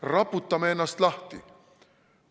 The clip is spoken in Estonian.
Raputame ennast lahti!